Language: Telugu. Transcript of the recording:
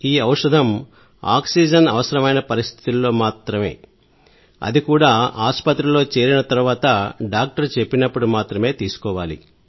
ఈ ఔషధం ఆక్సిజన్ అవసరమైన పరిస్థితుల్లో మాత్రమే అది కూడా ఆసుపత్రిలో చేరిన తర్వాత డాక్టర్ చెప్పినప్పుడు మాత్రమే తీసుకోవాలి